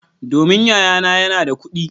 Domin yayana yana da kudi.